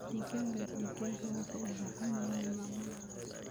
Digaagga digaaga waxay u baahan yihiin maamul wanaagsan.